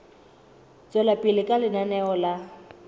tswela pele ka lenaneo la